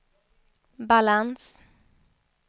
balans